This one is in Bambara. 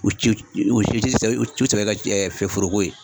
U ci u si tɛ u sɛbɛ kɛ foroko ye.